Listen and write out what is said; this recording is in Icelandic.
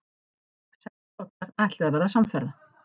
Sex bátar ætluðu að verða samferða.